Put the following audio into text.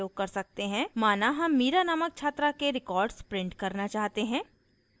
mira हम mira नामक छात्रा के records print करना चाहते है